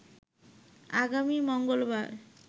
আগামী মঙ্গলবার